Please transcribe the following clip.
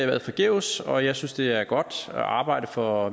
været forgæves og jeg synes det er godt at arbejde for